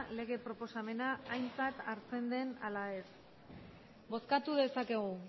lege proposamena aintzat hartzen den ala ez bozkatu dezakegu